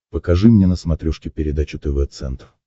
покажи мне на смотрешке передачу тв центр